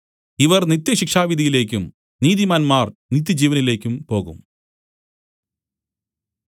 ഇവർ നിത്യശിക്ഷാവിധിയിലേക്കും നീതിമാന്മാർ നിത്യജീവനിലേക്കും പോകും